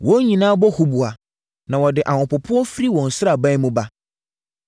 Wɔn nyinaa bɔ huboa, na wɔde ahopopoɔ firi wɔn nsraban mu ba.